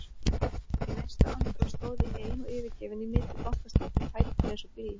Í næstu andrá stóð ég ein og yfirgefin í miðju Bankastræti, fæturnir eins og blý.